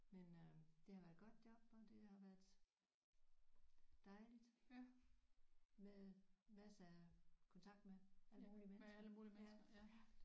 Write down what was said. Men øh det har været et godt job og det har været dejligt med masser af kontakt med alle mulige mennesker ja ja